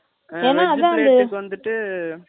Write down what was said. ஆ, veg plate வந்துட்டு,